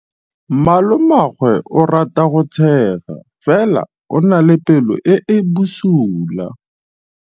Malomagwe o rata go tshega fela o na le pelo e e bosula.